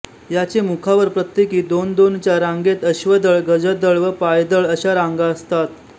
याचे मुखावरप्रत्येकी दोन दोनच्या रांगेतअश्वदळ गजदळ व पायदळ अशा रांगा असतात